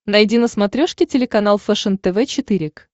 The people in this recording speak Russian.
найди на смотрешке телеканал фэшен тв четыре к